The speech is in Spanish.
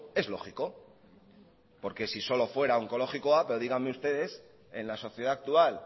es lógico porque si solo fuera onkologikoa pero díganme ustedes en la sociedad actual